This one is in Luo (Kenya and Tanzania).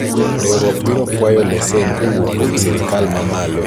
riwruok biro kwayo lesen kowuok kuom sirikal ma malo